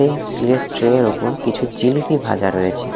এই স্টিল -এর ট্রে -এর ওপর কিছু জিলেপি ভাজা রয়েছে।